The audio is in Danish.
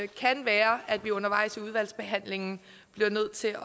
kan være at vi undervejs i udvalgsbehandlingen bliver nødt til at